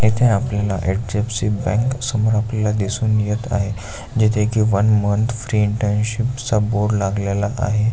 इथे आपल्याला एच.डी.एफ.सी. बँक समोर आपल्याला दिसून येत आहे जिथे की वन मंथ फ्री इंटर्नशिप चा बोर्ड लागलेला आहे.